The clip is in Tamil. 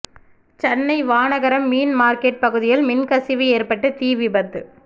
சென்னை வானகரம் மீன் மார்க்கெட் பகுதியில் மின்கசிவு ஏற்பட்டு தீ விபத்து